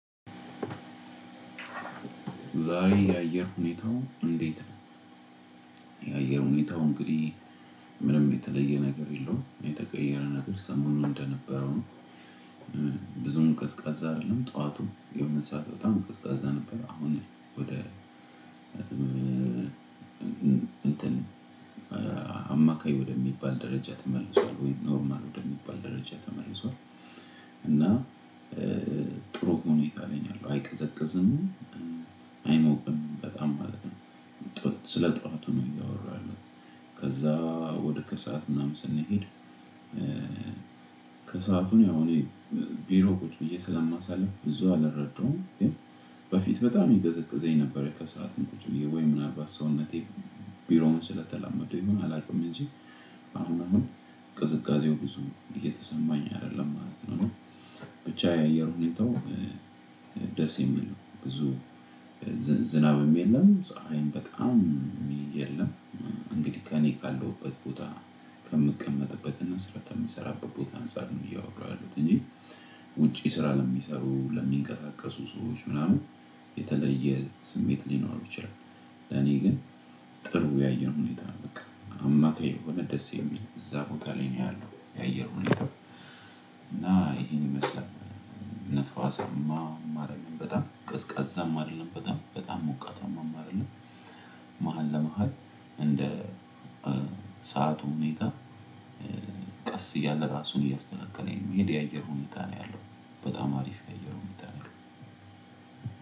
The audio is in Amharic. ዛሬ የአየር ሁኔታው እንዴት ነው? የአየር ሁኔታው እንግዲህ ምንም የተለየ ነገር የለውም የተቀየረ ነገር ሰሞኑን እንደነበረው ነው። ብዙም ቀዝቃዛ አይደለም ጠዋቱ የሆነ ሰዓት በጣም ቀዝቃዛ ነበር። አሁን ወደ እንትን አማካይ ወደሚባል ደረጃ ተመልሷል ወይም ኖርማል ወደሚባል ደረጃ ተመልሷል። እና ጥሩ ሁኔታ ላይ ነው ያለው አይቀዘቅዝም አይሞቅም በጣም ማለት ነው። ስለ ጠዋቱ ነው እያወራሁ ያለሁት ከዛ ወደ ከሰአት ምናምን ስንሄድ። ከሰአቱን ያው እኔ ቢሮ ቁጭ ብዬ ስለማሳልፍ ብዙ አልረዳውም። በፊት በጣም ይቀዘቅዘኝ ነበር ከሰአቱም ቁጭ ወይ ምንአልባት ሰውነቴ ቢሮውን ስለተላመደው ይሁን አላውቅም። እንጂ አሁን አሁን ቅዝቃዜው ብዙም እየተሰማኝ አይደለም ማለት ነው። ብቻ የአየሩን ሁኔታው ደስ የሚል ብዙ ዝናብ የለም ፀሀይም በጣም የለም። እንግዲህ ከእኔ ካለሁበት ቦታ ከምቀመጥበትና ስራ ከሚሰራበት ቦታ አንፃር ነው እያወራሁ ያሉት እንጂ። ውጪ ስራ ለሚሰሩ ለሚንቀሳቀሱ ሰዎች ምናምን የተለየ ስሜት ሊኖሩ ይችላሉ። ለኔ ግን ጥሩ የአየር ሁኔታ ነው በቃ አማካይ የሆነ ደስ የሚል እዛ ቦታ ላይ ነው ያለው የአየር ሁኔታ። እና ይሄን ይመስላል ንፋሳማ አይደለም በጣም ቀዝቃዛም አይደለም በጣም በጣም ሞቃታማም አይደለም። መሃል ለመሃል እንደ ሁኔታ ቀስ እያለ ራሱን እያስተካከለ የሚሄድ የአየር ሁኔታ ነው። ያለው በጣም አሪፍ የአየር ሁኔታ ነው ያለው።